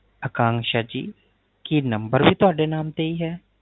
ਅਕਾਨਸ਼ਾ ਜੀ ਕੀ ਨੰਬਰ ਵੀ ਤੁਹਾਡੇ ਨਾਮ ਤੇ ਹੀ ਹੈ